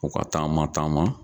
U ka taama taama.